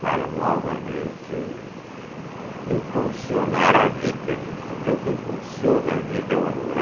para novamente impulsionar a vida, porque o que impulsiona a vida é o amor.